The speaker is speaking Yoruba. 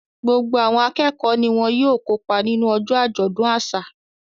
Gbogbo àwọn akẹ́kọ̀ọ́ ni wọ́n ó kópa nínú ọjọ́ àjọ̀dún àṣà